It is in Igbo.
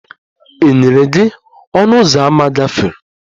E nyere gị ọnụ ụzọ ámá gafere?